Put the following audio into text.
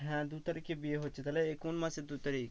হ্যাঁ দু তারিখে বিয়ে হচ্ছে তাহলে কোন মাসের দু তারিখ?